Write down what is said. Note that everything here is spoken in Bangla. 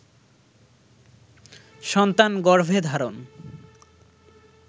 সন্তান গর্ভে ধারণ